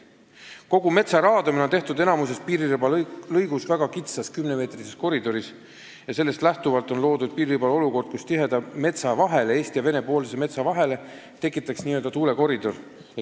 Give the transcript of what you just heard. Kogu metsa raadamine on suurema osa piiririba ulatuses tehtud väga kitsas 10-meetrises koridoris ja sellest lähtuvalt on loodud piiriribal olukord, kus tiheda metsa vahele, Eesti ja Vene metsa vahele tekitataks n-ö tuulekoridor.